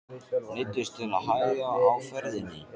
Neyddist til að hægja á ferðinni.